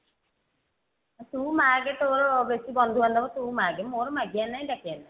ତୁ ମାଗେ ତୋର ବେଶି ବନ୍ଧୁ ବାନ୍ଧବ ତୁ ମାଗେ ମୋର ମାଗିବାର ନାହିଁ ଡାକିବାର ନାହିଁ